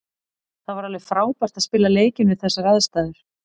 Það var alveg frábært að spila leikinn við þessar aðstæður.